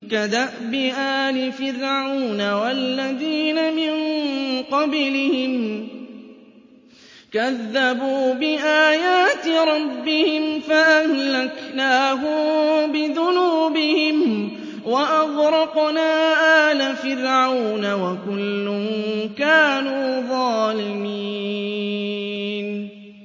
كَدَأْبِ آلِ فِرْعَوْنَ ۙ وَالَّذِينَ مِن قَبْلِهِمْ ۚ كَذَّبُوا بِآيَاتِ رَبِّهِمْ فَأَهْلَكْنَاهُم بِذُنُوبِهِمْ وَأَغْرَقْنَا آلَ فِرْعَوْنَ ۚ وَكُلٌّ كَانُوا ظَالِمِينَ